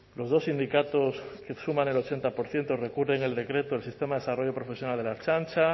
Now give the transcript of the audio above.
los dos sindicatos que suman el ochenta por ciento recurren el decreto del sistema de desarrollo profesional de la ertzaintza